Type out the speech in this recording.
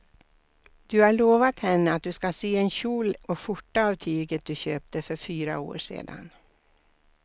Du har lovat henne att du ska sy en kjol och skjorta av tyget du köpte för fyra år sedan.